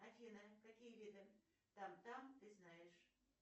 афина какие виды там там ты знаешь